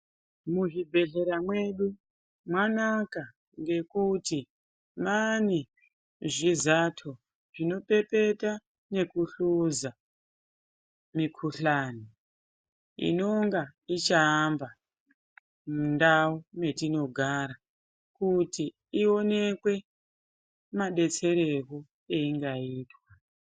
muzvibhedhlera mwedu mwanaka ngekuti mane zvizato zvinopepeta nekuhluza mikuhlani. Inonga ichaamba mundau metinogara kuti ionekwe mabetserero ainga itwa.